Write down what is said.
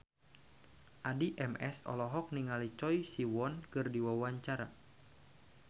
Addie MS olohok ningali Choi Siwon keur diwawancara